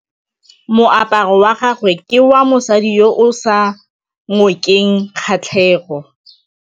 Moaparô wa gagwe ke wa mosadi yo o sa ngôkeng kgatlhegô.